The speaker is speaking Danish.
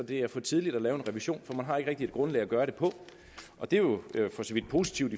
det er for tidligt at lave en revision for man har ikke rigtig et grundlag at gøre det på og det er jo for så vidt positivt